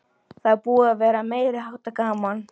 Það er búið að vera meiriháttar gaman!